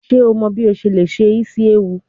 Ṣe o mọ bi o ṣe le se isi ewu?